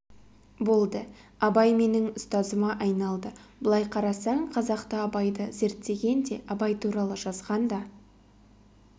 болды абай менің ұстазыма айналды былай қарасаң қазақта абайды зерттеген де абай туралы жазған да